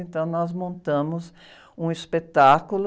Então, nós montamos um espetáculo